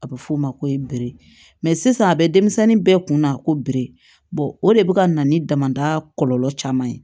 A bɛ f'o ma ko ye bere sisan a bɛ denmisɛnnin bɛɛ kunna ko biri o de bɛ ka na ni damada kɔlɔlɔ caman ye